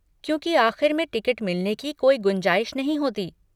क्योंकि आख़िर में टिकट मिलने की कोई गुंजाइश नहीं होती।